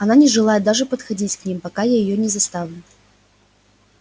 она не желает даже подходить к ним пока я её не заставлю